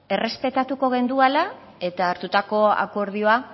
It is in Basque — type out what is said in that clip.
errespetatuko genduela eta hartutako akordioa